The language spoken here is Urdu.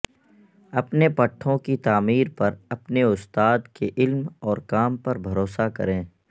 اپنے پٹھوں کی تعمیر پر اپنے استاد کے علم اور کام پر بھروسہ کریں